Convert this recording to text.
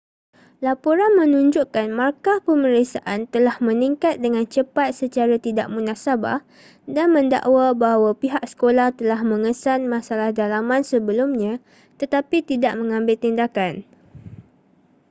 laporan menunjukkan markah pemeriksaan telah meningkat dengan cepat secara tidak munasabah dan mendakwa bahawa pihak sekolah telah mengesan masalah dalaman sebelumnya tetapi tidak mengambil tindakan